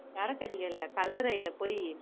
சரக்கு அடிக்க இல்ல கல்லறைல போயி